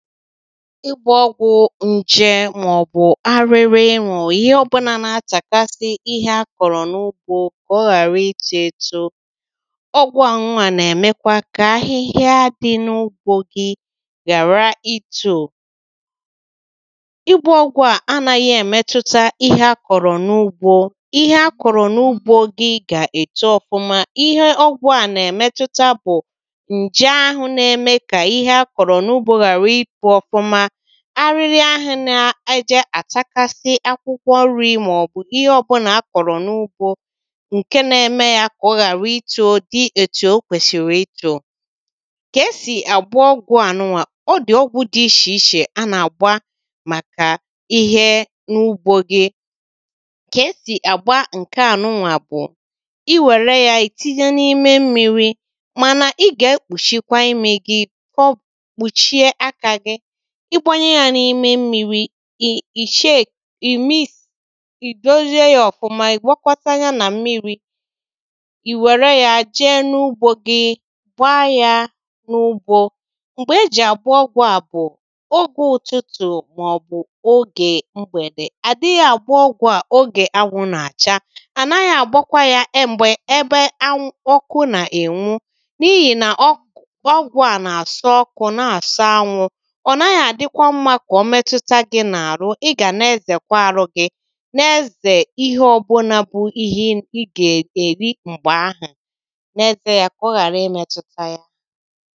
ịgbȧ ọgwụ̀ nche màọbụ̀ arịrị ịnwụ̀ ihe ọbụnà na-atàgasị ihe akọ̀rọ̀ n’ugbȯ kà ọ ghàrȧ itȯ eto ọgwụ̀ anwụ̇ a nà-èmekwȧ kà ahịhịa dị n’ugbȯ gi ghàra itò ịgbȧ ọgwụ̀ a anaghị̇ èmetuta ihe akọ̀rọ̀ n’ugbȯ ihe akọ̀rọ̀ n’ugbȯ gi gà-èto ọfụma ihe ọgwụ̀ a nà-èmetuta bụ̀ ǹje ahụ̀ na-eme kà ihe akọ̀rọ̀ n’ugbȯ arịrị ahụ̇ nà ije àchakasị akwụkwọ ọrụ̇ màọbụ̀ ihe ọbụ̀là a kọ̀rọ̀ n’ugbȯ ǹke na-eme yȧ kà ọ ghàra itȯ di ètù o kwèsìrì itȯ kà e sì àgbà ọgwụ̀ ànụnwà ọ dì ọgwụ̀ dị ichèichè a nà-àgba màkà ihe n’ugbȯ gi kà e sì àgba ǹkèànụnwà bụ̀ iwère yȧ ìtinye n’ime mmiri̇ mànà ị gà-ekpùchikwa imi̇ gi igbȧnye yȧ n’ime mmiri̇ ì shake ì mis ì dozìe yȧ ọ̀fụma ì gwakọta ya nà mmiri̇ ì wère yȧ jee n’ugbȯ gi gbaa yȧ n’ugbȯ m̀gbè e jì àgbọgwọ à bụ̀ ogė ụtụtụ̀ màọbụ̀ ogè mgbèdè àdị yȧ àgbọ ọgwụ̀ à ogè anwụ̇ nà-àcha ànaghị̀ àgbọkwa yȧ e m̀gbè ebe anwụ̇ ọkụ nà-ènwu n’ihì nà ọgwụ̀ à nà-àsọ ọkụ̇ na-àsa anwụ̇ i gà-ezèkwa arụ gị n’ezè ihe ọbụ̀là bụ̀ ihe ị gà-èri m̀gbè ahụ̀ n’ezè ya kà ọ ghàra imėtụta ya